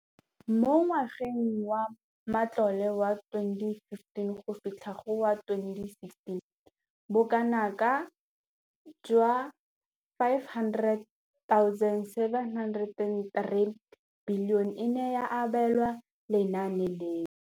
Mo ngwageng wa matlole wa 2015 2016, bokanaka R5 703 bilione e ne ya abelwa lenaane leno.